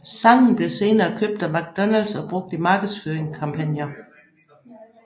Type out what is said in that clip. Sangen blev senere købt af McDonalds og brugt i markedsføringskampagner